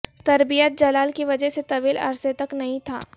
تربیت جلال کی وجہ سے طویل عرصہ تک نہیں تھا